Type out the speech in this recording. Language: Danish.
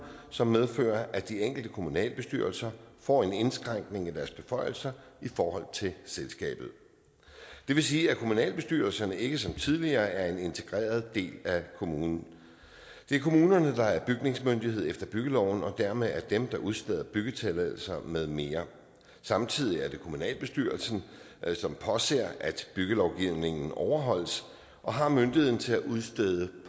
som medfører at de enkelte kommunalbestyrelser får en indskrænkning af deres beføjelser i forhold til selskabet det vil sige at kommunalbestyrelserne ikke som tidligere er en integreret del af kommunen det er kommunerne der er bygningsmyndighed efter byggeloven og dermed er det dem der udsteder byggetilladelser med mere samtidig er det kommunalbestyrelsen som påser at byggelovgivningen overholdes og har myndigheden til at udstede